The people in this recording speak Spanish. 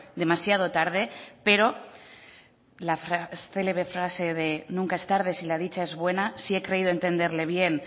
demasiado tarde pero la célebre frase de nunca es tarde si la dicha es buena si he creído entenderle bien